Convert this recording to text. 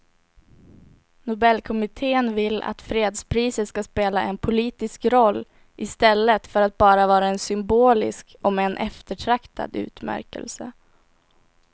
Nobelkommittén vill att fredspriset ska spela en politisk roll i stället för att bara vara en symbolisk om än eftertraktad utmärkelse.